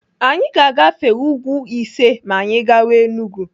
Anyị ga-agafe úgwú ise ma anyị gawa Enugu.